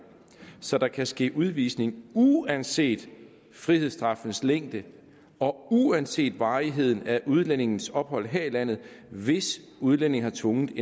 så der kan ske udvisning uanset frihedsstraffens længde og uanset varigheden af udlændingens ophold her i landet hvis udlændingen har tvunget